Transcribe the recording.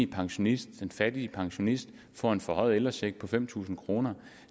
pensionist den fattige pensionist får en forhøjet ældrecheck på fem tusind kroner